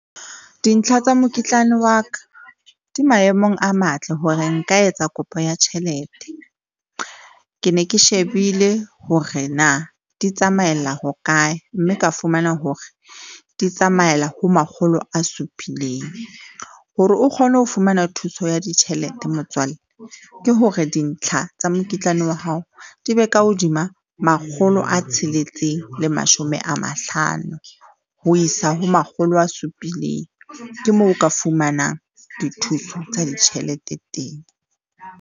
Dintlha tsa mokitlane wa ka di maemong a matle hore nka etsa kopo ya tjhelete. Ke ne ke shebile hore na di tsamaella ho kae, mme ka fumana hore di tsamaela ho makgolo a supileng hore o kgone ho fumana thuso ya ditjhelete, motswalle ke hore dintlha tsa mokitlane wa hao di be ka hodima makgolo a tsheletseng le mashome a mahlano ho isa ho makgolo a supileng. Ke moo o ka fumanang dithuso tsa ditjhelete teng.